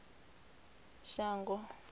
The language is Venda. shango